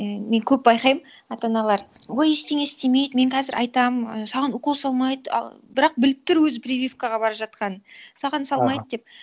і мен көп байқаймын ата аналар ой ештеңе істемейді мен қазір айтамын а саған укол салмайды а бірақ біліп тұр өзі прививкаға бара жатқанын саған салмайды деп